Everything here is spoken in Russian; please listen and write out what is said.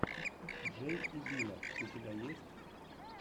джей и бина у тебя есть